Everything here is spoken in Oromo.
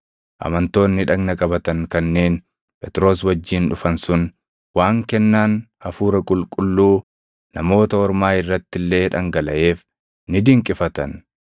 Amantoonni dhagna qabatan kanneen Phexros wajjin dhufan sun waan kennaan Hafuura Qulqulluu Namoota Ormaa irrati illee dhangalaʼeef ni dinqifatan;